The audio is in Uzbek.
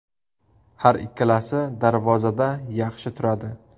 Har ikkalasi darvozada yaxshi turadi.